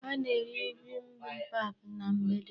Ha na-eri bibimbap na mgbede.